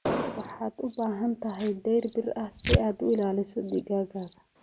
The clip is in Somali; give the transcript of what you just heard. Waxaad u baahan tahay dayr bir ah si aad u ilaaliso digaaggaaga.